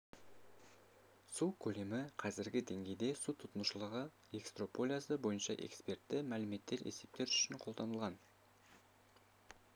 су көлемі қазіргі деңгейде су тұтынушылығы экстраполяциясы бойынша экспертті мәліметтер есептеу үшін қабылданған